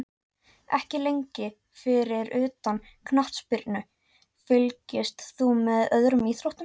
Ekki lengi Fyrir utan knattspyrnu, fylgist þú með öðrum íþróttum?